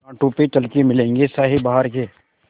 कांटों पे चल के मिलेंगे साये बहार के